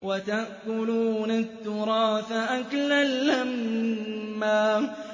وَتَأْكُلُونَ التُّرَاثَ أَكْلًا لَّمًّا